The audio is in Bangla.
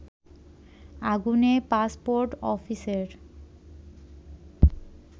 আগুনে পাসপোর্ট অফিসের